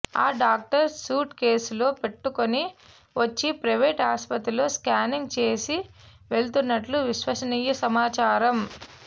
ఆ doctor suit కేసులో పెట్టుకుని వచ్చి ప్రైవేట్ ఆస్పత్రుల్లో స్కానింగ్ చేసి వెళుతున్నట్లు విశ్వసనీయ సమాచారం